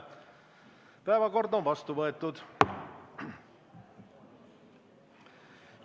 Päevakord on vastu võetud.